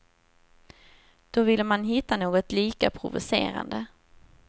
Då ville man hitta något lika provocerande.